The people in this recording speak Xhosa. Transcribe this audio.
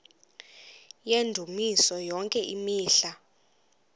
yendumiso yonke imihla